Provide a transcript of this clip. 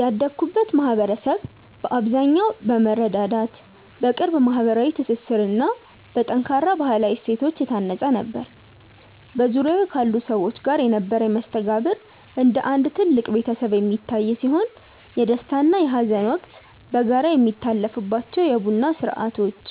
ያደግኩበት ማኅበረሰብ በአብዛኛው በመረዳዳት፣ በቅርብ ማኅበራዊ ትስስርና በጠንካራ ባሕላዊ እሴቶች የታነፀ ነበር። በዙሪያዬ ካሉ ሰዎች ጋር የነበረኝ መስተጋብር እንደ አንድ ትልቅ ቤተሰብ የሚታይ ሲሆን፣ የደስታና የሐዘን ወቅት በጋራ የሚታለፍባቸው የቡና ሥርዓቶች፣